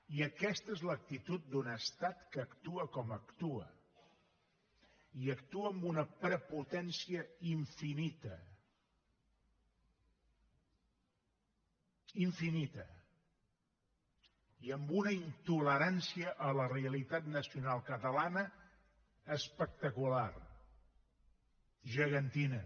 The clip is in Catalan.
i aquesta és l’actitud d’un estat que actua com actua i actua amb una prepotència infinita infinita i amb una intolerància a la realitat nacional catalana espectacular gegantina